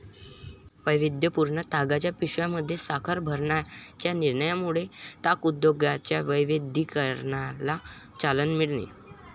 वैविध्यपूर्ण तागाच्या पिशव्यांमध्ये साखर भरण्याच्या निर्णयामुळे ताग उद्योगाच्या वैविध्ययीकरणाला चालना मिळेल.